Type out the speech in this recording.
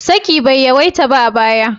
Saki bai yawaita ba a baya.